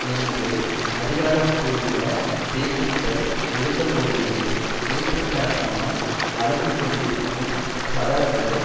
என்று அதிகாரபூர்வ பேச்சுக்கள் இருந்தபோதிலும் நூற்று கணக்கான அழுகி கொண்டிருக்கும் சடலங்கள்